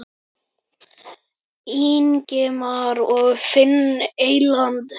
Ingimar og Finni Eydal.